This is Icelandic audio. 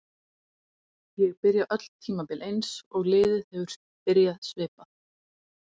Ég byrja öll tímabil eins og liðið hefur byrjað svipað.